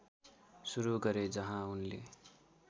सुरु गरे जहाँ उनले